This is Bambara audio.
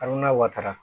Al n'a wataara